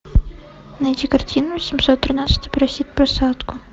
найди картину семьсот тринадцатый просит посадку